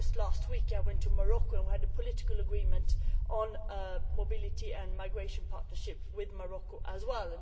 Just last week I went to Morocco where we reached political agreement on a mobility and migration partnership with Morocco as well.